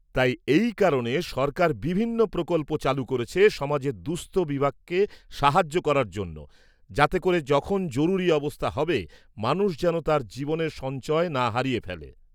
-তাই এই কারণে সরকার বিভিন্ন প্রকল্প চালু করেছে সমাজের দুঃস্থ বিভাগকে সাহায্য করার জন্য, যাতে করে যখন জরুরী অবস্থা হবে মানুষ যেন তার জীবনের সঞ্চয় না হারিয়ে ফেলে।